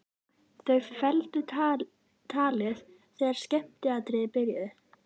Þau felldu talið þegar skemmtiatriðin byrjuðu.